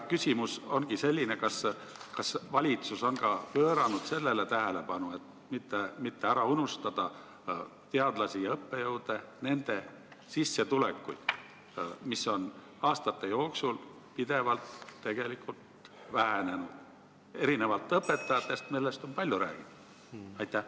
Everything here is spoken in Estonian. Küsimus ongi selline: kas valitsus on pööranud tähelepanu ka sellele, et ei tohi ära unustada teadlasi ja õppejõude, nende sissetulekuid, mis on aastate jooksul tegelikult pidevalt vähenenud, erinevalt õpetajatest, kelle palkadest on palju räägitud?